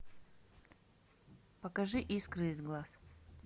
покажи искры из глаз